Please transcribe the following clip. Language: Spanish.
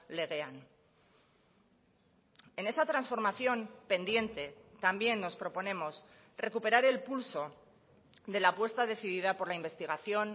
legean en esa transformación pendiente también nos proponemos recuperar el pulso de la apuesta decidida por la investigación